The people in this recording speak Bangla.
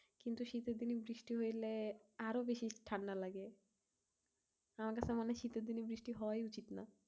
কিন্তু শীতের দিনে বৃষ্টি হইলে আরো বেশি ঠান্ডা লাগে। আমার তো মানে শীতের দিনে বৃষ্টি হওয়াই উচিত না।